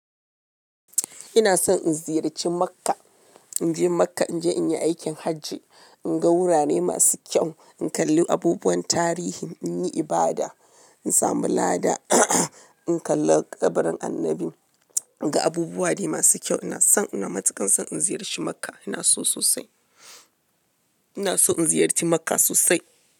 Ina son in ziyarci Makka. In je Makka, in je in yi aikin hajji, in ga wurare masu kyau, in kalli abubuwan tarihi, in yi ibada, in samu lada, in kalla ƙabarin Annabi ga abubuwa ne masu kyau. Ina son, ina matuƙan son in ziyarci Makka. Ina so sosai. Ina so in ziyarci Makka sosai.